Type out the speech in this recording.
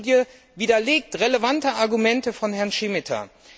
Diese Studie widerlegt relevante Argumente von Herrn Šemeta.